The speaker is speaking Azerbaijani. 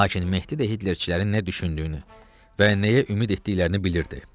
Lakin Mehdi də hitlerçilərin nə düşündüyünü və nəyə ümid etdiklərini bilirdi.